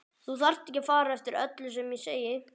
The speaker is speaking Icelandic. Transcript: Þú þarft ekki að fara eftir öllu sem ég segi